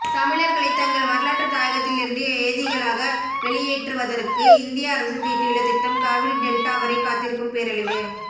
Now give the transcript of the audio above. தமிழர்களை தங்கள் வரலாற்று தாயகத்திலிருந்து ஏதிலிகளாக வெளியேற்று வதற்கு இந்திய அரசு தீட்டியுள்ள திட்டம் காவிரி டெல்ட்டாவரை காத்திருக்கும் பேரழிவு